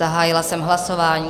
Zahájila jsem hlasování.